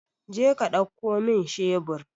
Jeka ɗauko min shebur!